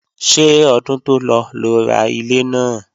Ṣé ọdún tó lọ lo ra ilé náà?